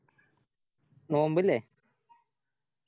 നോമ്പ് ഇല്ലേ